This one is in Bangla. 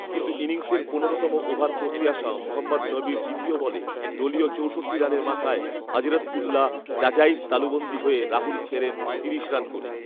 কিন্তু ইনিংসের পনেরোতম ওভার করতে আসা মোহাম্মদ নবীর দ্বিতীয় বলে দলীয় চৌষট্টি রানের মাথায় হযরতউল্লাহ জাজাইর তালুবন্দী হয়ে রাহুল ফেরেন তিরিশ রান করে